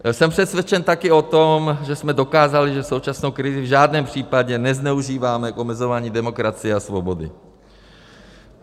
Jsem přesvědčen také o tom, že jsme dokázali, že současnou krizi v žádném případě nezneužíváme k omezování demokracie a svobody.